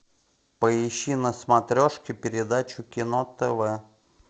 поищи на смотрешке передачу кино тв